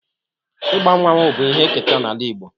Igba mmanwu bụ ihe eketa n'ala Igbo